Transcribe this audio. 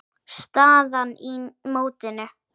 Staðan í mótinu.